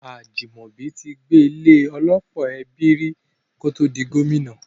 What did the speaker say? Ajimobi ti gbé ilé - ọlọ́pọ̀ ẹbí rí kótó di Gómìnà.